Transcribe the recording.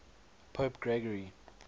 pope gregory